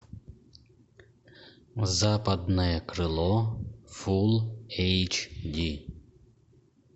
западное крыло фулл эйч ди